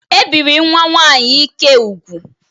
E biri nwa nwaanyị Ike ụ́gwù.